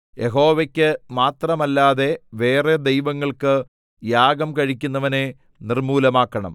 യഹോവയ്ക്ക് മാത്രമല്ലാതെ വേറെ ദൈവങ്ങൾക്ക് യാഗം കഴിക്കുന്നവനെ നിർമ്മൂലമാക്കണം